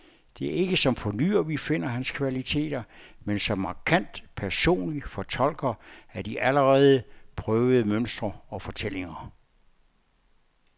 Det er ikke som fornyer, vi finder hans kvaliteter, men som markant personlig fortolker af de allerede prøvede mønstre og fortællinger.